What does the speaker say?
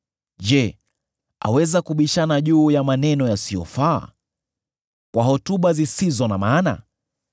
Je, aweza kubishana juu ya maneno yasiyofaa, kwa hotuba zisizo na maana?